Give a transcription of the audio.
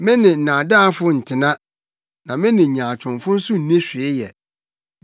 Me ne nnaadaafo ntena na me ne nyaatwomfo nso nni hwee yɛ.